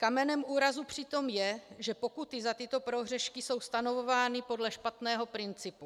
Kamenem úrazu přitom je, že pokuty za tyto prohřešky jsou stanovovány podle špatného principu.